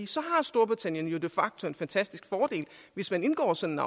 så har storbritannien jo de facto en fantastisk fordel hvis man indgår sådan